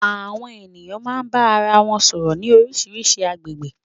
Àwọn ènìyàn máa ń bá ara wọn sọ̀rọ̀ ní oríṣiríṣi agbègbè.